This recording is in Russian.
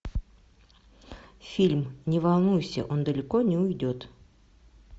фильм не волнуйся он далеко не уйдет